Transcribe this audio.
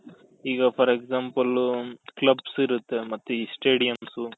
ಈಗ for example clubs ಇರುತ್ತೆ ಮತ್ತೆ ಈ stadiums